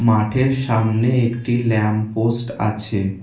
মাঠের সামনে একটি ল্যাম্প পোস্ট আছে।